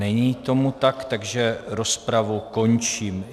Není tomu tak, takže rozpravu končím.